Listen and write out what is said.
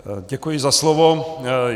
Děkuji za slovo.